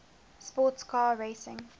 sports car racing